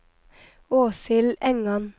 Åshild Engan